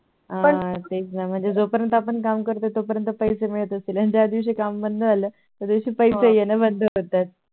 पण ते च ना आपण जो पर्यंत काम करतो तो पर्यंत पैसे मिळत असतील आणि ज्या दिवशी काम बंद झालं त्या दिवशी पैसे येन बंद होतात